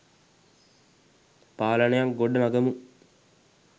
පාලනයක් ගොඩනඟමු